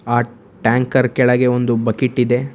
ಆ ಟ್ಯಾಂಕರ್ ಕೆಳಗೆ ಒಂದು ಬಕೀಟಿದೆ .